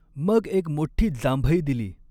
मग एक मोठ्ठी जांभई दिली.